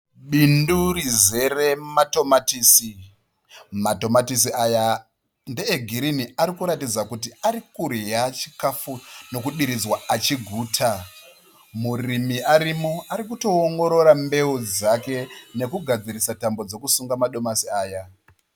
Bindu rizere matomatisi, matomatisi aya ndeegirini ari kuratidza kuti arikudya chikafu nokudiridzwa achiguta. Murimi arimo arikutoongorora mbeu dzake nekugadzirisa tambo dzekusunga madomasi aya.